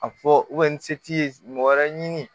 A fɔ ni se t'i ye mɔgɔ wɛrɛ ɲini